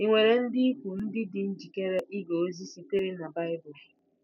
Ì nwere ndị ikwu ndị dị njikere ige ozi sitere na Bible?